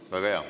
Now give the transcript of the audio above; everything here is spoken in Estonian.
Väga hea.